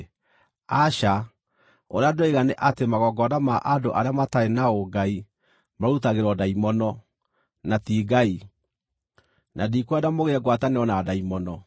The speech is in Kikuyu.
Aca! Ũrĩa ndĩroiga nĩ atĩ magongona ma andũ arĩa matarĩ na ũngai marutagĩrwo ndaimono, na ti Ngai, na ndikwenda mũgĩe ngwatanĩro na ndaimono.